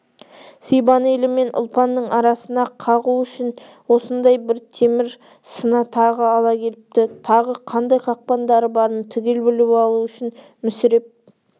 сибан елі мен ұлпанның арасына қағу үшін осындай бір темір сына тағы ала келіпті тағы қандай қақпандары барын түгел біліп алу үшін мүсіреп